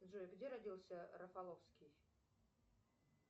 джой где родился рафаловский